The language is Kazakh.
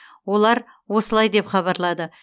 олар осылай деп хабарлады